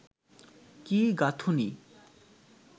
কি গাঁথুনি